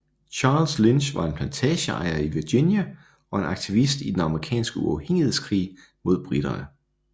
Charles Lynch var en plantageejer i Virginia og en aktivist i den amerikanske uafhængighedskrig mod briterne